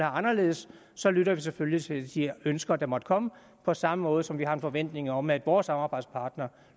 anderledes lytter vi selvfølgelig til de ønsker der måtte komme på samme måde som vi har en forventning om at vores samarbejdspartnere